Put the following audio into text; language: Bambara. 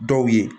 Dɔw ye